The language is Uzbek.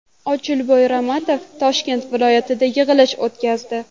Ochilboy Ramatov Toshkent viloyatida yig‘ilish o‘tkazdi.